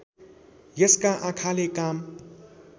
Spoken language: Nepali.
यसका आँखाले काम